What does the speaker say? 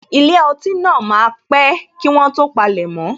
Ilé ọtí náà máa pé kí wọ́n tó palemo